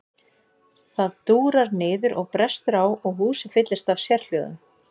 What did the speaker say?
Það dúrar niður og brestur á og húsið fyllist af sérhljóðum.